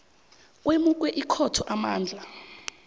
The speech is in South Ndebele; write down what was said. kwemukwe ikhotho amandla